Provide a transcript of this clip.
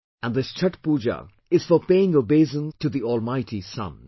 And this Chhathh Pooja is for paying obeisance to the almighty Sun